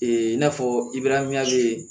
Ee in n'a fɔ ibe